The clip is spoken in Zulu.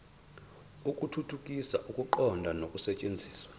ukuthuthukisa ukuqonda nokusetshenziswa